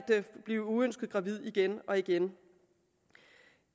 blive uønsket gravid igen og igen